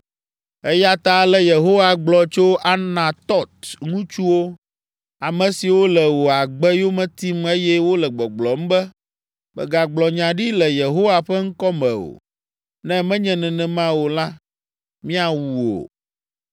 “Eya ta ale Yehowa gblɔ tso Anatɔt ŋutsuwo, ame siwo le wò agbe yome tim eye wole gbɔgblɔm be, ‘Mègagblɔ nya ɖi le Yehowa ƒe ŋkɔ me o, ne menye nenema o la, míawu wò.’